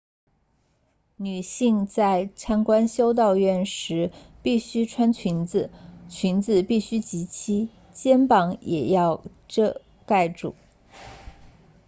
女性在参观修道院时必须穿裙子裙子必须及膝肩膀也要覆盖住